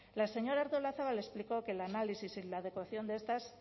la señora artolazabal explicó que el análisis y la adecuación de estas